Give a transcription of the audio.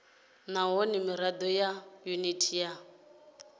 nahone mirado ya yuniti ya